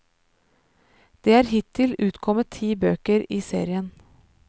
Det er hittil utkommet ti bøker i serien.